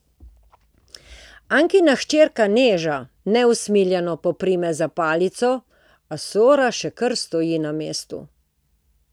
Ankina hčerka Neža neusmiljeno poprime za palico, a Sora še kar stoji na mestu.